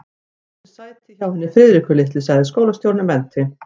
Fáðu þér sæti hjá henni Friðriku litlu sagði skólastjórinn og benti